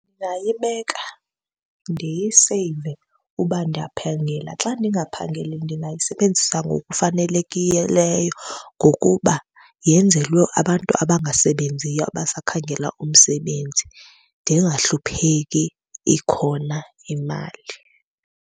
Ndingayibeka ndiyiseyive uba ndiyaphangela. Xa ndingaphangeli ndingayisebenzisa ngokufanelekileyo ngokuba yenzelwe abantu abangasebenziyo, abasakhangela umsebenzi. Ndingahlupheki ikhona imali.